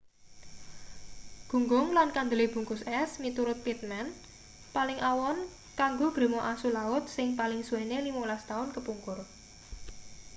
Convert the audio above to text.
gunggung lan kandele bungkus es miturut pittman paling awon kanggo grema asu laut sing paling suwene 15 taun kepungkur